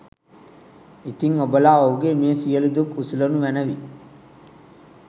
ඉතින් ඔබලා ඔහුගේ මේ සියළු දුක් උසුලනු මැනවි